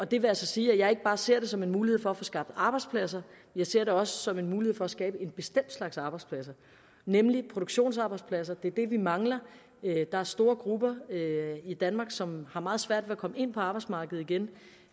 det vil altså sige at jeg ikke bare ser det som en mulighed for at få skabt arbejdspladser jeg ser det også som en mulighed for at skabe en bestemt slags arbejdspladser nemlig produktionsarbejdspladser det er det vi mangler der er store grupper i danmark som har meget svært ved at komme ind på arbejdsmarkedet igen